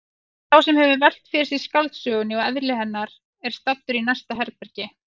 Sá sem hefur velt fyrir sér skáldsögunni og eðli hennar er staddur í næsta herbergi.